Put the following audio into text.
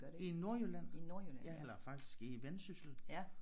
I Nordjylland eller faktisk i Vendsyssel